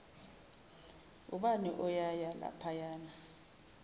ubani uyaya laphayana